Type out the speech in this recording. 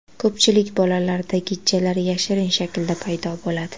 Ko‘pchilik bolalarda gijjalar yashirin shaklda paydo bo‘ladi.